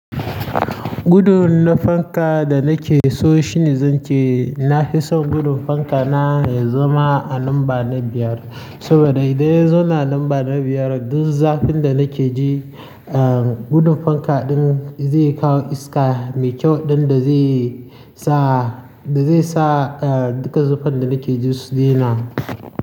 Gudun na fanka da nake so shine, zan ce na fi son gudun fanka na ya zama a namba na biyar saboda idan ya zo na namba na biyar, duk zafin da nake ji, gudun fanka ɗin zai kawo iska mai kyau ɗin da zai sa, da zai sa duka zufan da nake ji su daina.